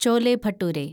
chole bhature